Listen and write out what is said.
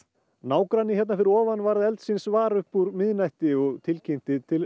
nágranni hérna fyrir ofan varð eldsins var upp úr miðnætti og tilkynnti til